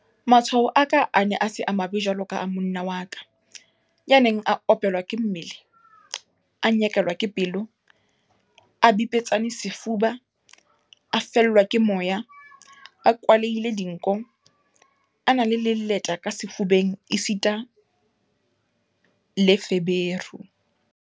Matshwao a ka a ne a se mabe jwaloka a monna wa ka, ya neng a opelwa ke mmele, a nyekelwa ke pelo, a bipetsane sefuba, a fellwa ke moya, a kwalehile dinko, a na le leleta ka sefubeng esita le feberu.